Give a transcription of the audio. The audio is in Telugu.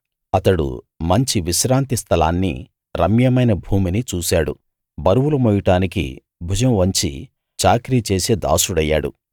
అతడు మంచి విశ్రాంతి స్థలాన్నీ రమ్యమైన భూమినీ చూశాడు బరువులు మోయడానికి భుజం వంచి చాకిరీ చేసే దాసుడయ్యాడు